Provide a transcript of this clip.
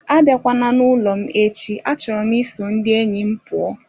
Abịakwala n'ụlọ m echi achọrọ m iso ndị enyi m pụọ